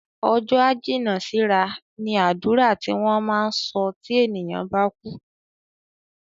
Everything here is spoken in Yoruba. "Ọjọ́ á jìnnà sí ra" ni àdúrà tí wọ́n máa ń sọ tí ènìyàn bá kú